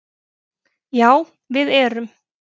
Já við erum